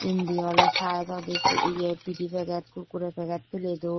indi ole side odi yea pide packet kurkure packet peley dun.